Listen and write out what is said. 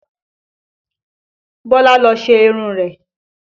Bọlá lọ ṣe irun rẹ̀